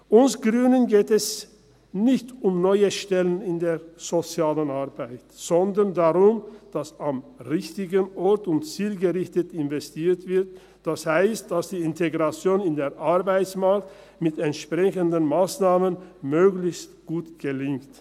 Uns Grünen geht es nicht um neue Stellen in der sozialen Arbeit, sondern darum, dass am richtigen Ort und zielgerichtet investiert wird, das heisst, dass die Integration in den Arbeitsmarkt mit entsprechenden Massnahmen möglichst gut gelingt.